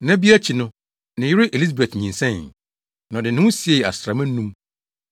Nna bi akyi no, ne yere Elisabet nyinsɛnee, na ɔde ne ho siee asram anum.